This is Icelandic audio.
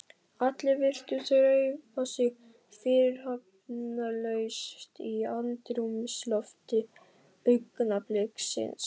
Allir virtust hreyfa sig fyrirhafnarlaust í andrúmslofti augnabliksins.